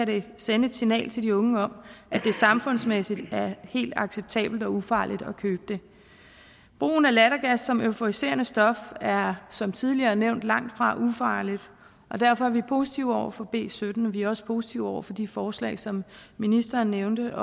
det sende et signal til de unge om at det samfundsmæssigt er helt acceptabelt og ufarligt at købe det brugen af lattergas som euforiserende stof er som tidligere nævnt langtfra ufarligt og derfor er vi positive over for b syttende vi er også positive over for de forslag som ministeren nævnte